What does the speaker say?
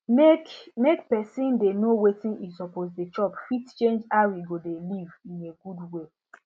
make make person dey know wetin e suppose dey chop fit change how e go dey live in a good way